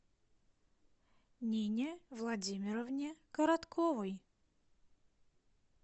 нине владимировне коротковой